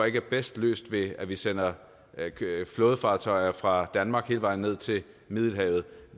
ikke er bedst løst ved at vi sender flådefartøjer fra danmark hele vejen ned til middelhavet